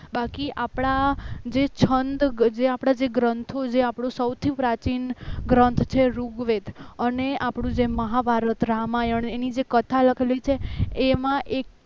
બાકી આપણા જે છંદ જે આપણા ગ્રંથો જે આપણું સૌથી પ્રાચીન ગ્રંથ છે ઋગ્વેદ અને આપણો જે મહાભારત રામાયણ એની જે કથા લખેલી છે એમાં એક